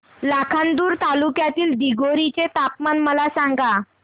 लाखांदूर तालुक्यातील दिघोरी चे तापमान मला सांगा